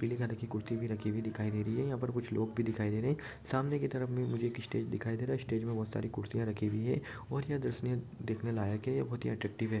पीले कलर की कुर्सी हुई दिखाई दे रही है यहाँ पर कुछ लोग भी दिखाई दे रहे है सामने की तरफ में मुझे एक स्टेज दिखाई दे रहा है स्टेज में बोहत सारी कुर्सियाँ रखी हुई हैऔर ये दर्शनीय देखने लायक है ये बोहत अट्रेक्टिव है ।